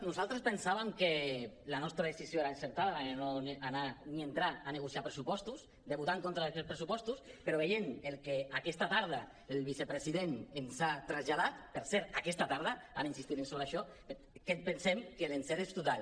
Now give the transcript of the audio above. nosaltres pensàvem que la nostra decisió era encertada la de no anar ni entrar a negociar pressupostos de votar en contra d’aquests pressupostos però veient el que aquesta tarda el vicepresident ens ha traslladat per cert ara insistirem sobre això pensem que l’encert és total